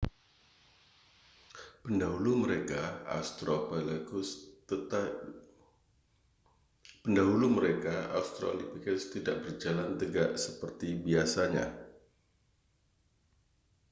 pendahulu mereka australopithecus tidak berjalan tegak seperti biasanya